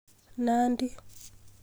Nandi